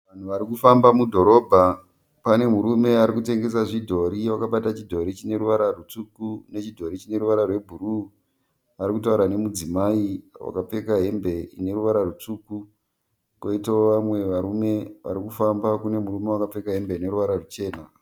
Vanhu vari kufamba mudhorobha pane murume arikutengesa zvidhori . Wakabata chidhori chine ruvara rutsvuku nechidhori chine ruvara rwebhuru. Arikutaura nemudzimai wakapfeka hembe ine ruvara rutsvuku. Koitawo vamwe varume varikufamba . Kunemurume akapfeka hembe ine ruvara ruchena.